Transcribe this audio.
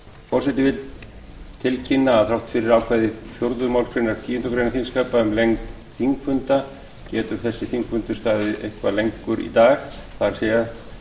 forseti vill tilkynna að þrátt fyrir ákvæði fjórðu málsgreinar tíundu greinar þingskapa um lengd þingfunda getur þessi þingfundur staðið eitthvað lengur í dag það er